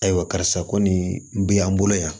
Ayiwa karisa ko nin bɛ an bolo yan